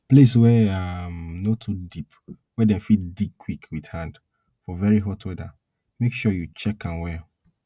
place wey um no too deep wey dem fit dig quick with hand for very hot weather make sure you check am well